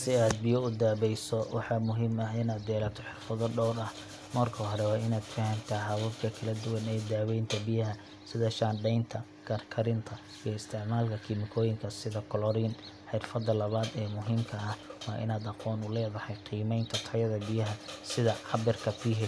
Si aad biyo u daweyso, waxaa muhiim ah inaad yeelato xirfado dhowr ah. Marka hore, waa inaad fahamtaa hababka kala duwan ee daweynta biyaha sida shaandhaynta, karkarinta, iyo isticmaalka kiimikooyinka sida chlorine. Xirfadda labaad ee muhiimka ah waa inaad aqoon u leedahay qiimeynta tayada biyaha, sida cabbirka pH,